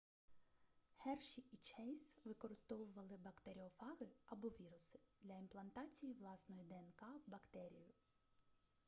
херші і чейз використовували бактеріофаги або віруси для імплантації власної днк в бактерію